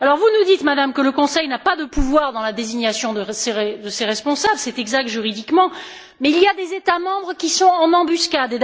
Vous nous dites, Madame, que le Conseil n'a pas de pouvoir dans la désignation de ces responsables c'est exact juridiquement mais il y a des États membres qui sont en embuscade